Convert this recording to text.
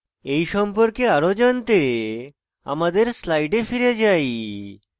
এই সম্পর্কে আরো জানতে আমাদের slides ফিরে যাই